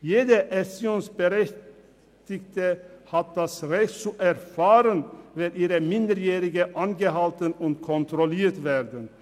Jede erziehungsberechtigte Person hat das Recht, davon zu erfahren, wenn ihre Minderjährigen angehalten und kontrolliert werden.